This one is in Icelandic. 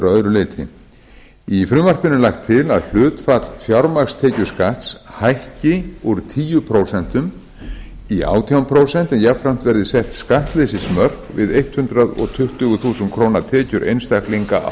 að öðru leyti í frumvarpinu er lagt til að hlutfall fjármagnstekjuskatts hækki úr tíu prósent í átján prósent en jafnframt verði sett skattleysismörk við hundrað tuttugu þúsund tekjur einstaklinga